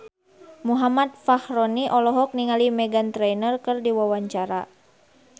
Muhammad Fachroni olohok ningali Meghan Trainor keur diwawancara